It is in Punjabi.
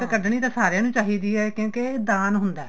ਕੱਡਣੀ ਤਾਂ ਸਾਰੀਆਂ ਨੂੰ ਚਾਹੀਦੀ ਏ ਕਿਉਂਕਿ ਦਾਨ ਹੁੰਦਾ